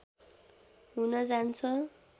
हुन जान्छ